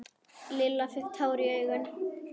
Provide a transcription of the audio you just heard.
Lilla fékk tár í augun.